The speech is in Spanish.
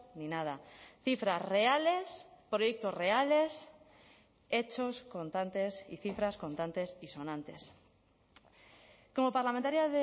ni nada cifras reales proyectos reales hechos contantes y cifras contantes y sonantes como parlamentaria